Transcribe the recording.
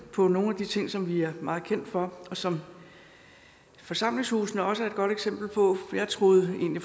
på nogle af de ting som vi er meget kendt for og som forsamlingshusene også er et godt eksempel på jeg troede egentlig